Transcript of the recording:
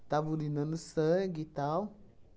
Estava urinando sangue e tal.